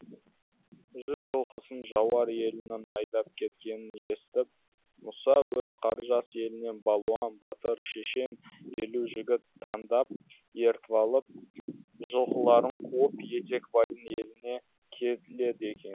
жүз жылқысын жауар елінің айдап кеткенін естіп мұса өз қаржас елінен балуан батыр шешен елу жігіт таңдап ертіп алып жылқыларын қуып етекбайдың еліне келеді екен